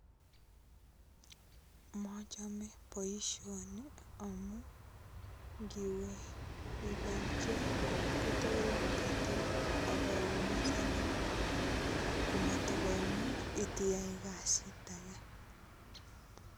Machame boisoni, amu ngiwe iba icheng, kotorin katok akoumisanin. Koatokoimuch itiyai kasit age.